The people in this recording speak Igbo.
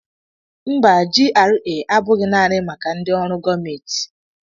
Mba, GRA abụghị naanị maka ndị ọrụ gọọmentị